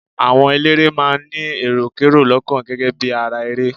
Àwọn eléré máa ń ní èròkerò lọ́kàn gẹ́gẹ́ bí ara ere.